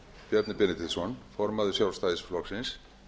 bjarni benediktsson formaður sjálfstæðisflokksins